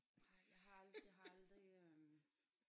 Nej jeg har aldrig jeg aldrig øh